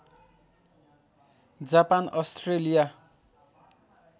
Japan Australia